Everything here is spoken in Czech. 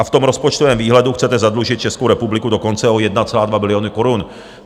A v tom rozpočtovém výhledu chcete zadlužit Českou republiky dokonce o 1,2 bilionu korun.